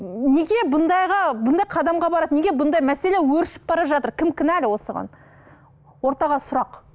неге бұндайға бұндай қадамға барады неге бұндай мәселе өршіп бара жатыр кім кінәлі осыған ортаға сұрақ